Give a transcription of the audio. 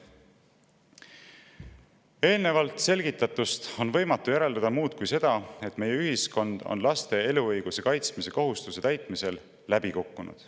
Eelnevalt selgitatu põhjal on võimatu järeldada muud kui seda, et meie ühiskond on laste eluõiguse kaitsmise kohustuse täitmisel läbi kukkunud.